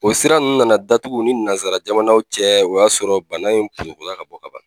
O sira ninnu nana datugu u ni nanzara jamanaw cɛ o y'a sɔrɔ bana in ka bɔ ka ban.